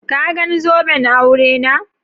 Ka gan zoben aure na?